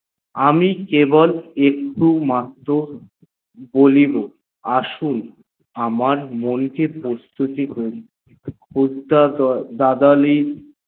আমি কেবল একটু মাত্র বলিব আসুন আমার মন কে প্রস্তুতি হক উচ্ছো দাদলে